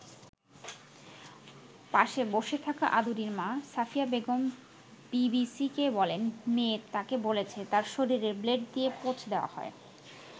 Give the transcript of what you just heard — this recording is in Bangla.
পাশে বসে থাকা আদুরির মা সাফিয়া বেগম বিবিসিকে বলেন, মেয়ে তাকে বলেছে তার শরীরে ব্লেড দিয়ে পোঁচ দেওয়া হয়।